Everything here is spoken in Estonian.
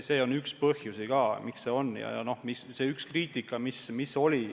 See on üks põhjus, miks asjad nii on.